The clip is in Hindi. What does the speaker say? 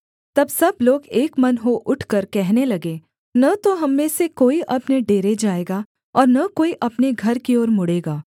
तब सब लोग एक मन हो उठकर कहने लगे न तो हम में से कोई अपने डेरे जाएगा और न कोई अपने घर की ओर मुड़ेगा